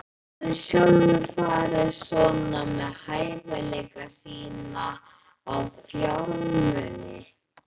Hann hafði sjálfur farið svona með hæfileika sína og fjármuni.